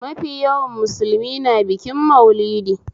Mafi yawan musulmi na bikin maulidi